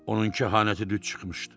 Onun kehanəti düz çıxmışdı.